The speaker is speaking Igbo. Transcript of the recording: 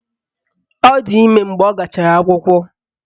Ọ di ime mgbe ọ gachara akwụkwọ